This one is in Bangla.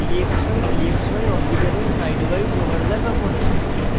dxydxy orbitals sidewise overlap আঁকুন